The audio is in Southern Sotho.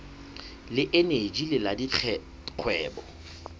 le eneji le la dikgwebo